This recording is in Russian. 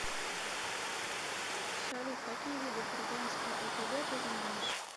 салют какие виды курганская опг ты знаешь